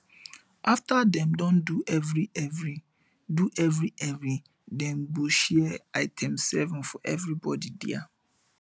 afta dem don do evrievri do evrievri dem go share itemseven for evribodi dia